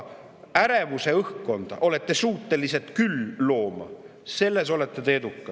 Ärevuse õhkkonda olete suutelised küll looma, selles olete te edukad!